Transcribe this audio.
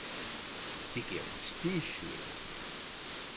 Det giver prestige, mener de.